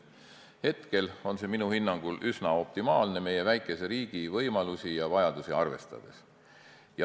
Hetkel on see minu hinnangul üsna optimaalne meie väikese riigi võimalusi ja vajadusi arvestades.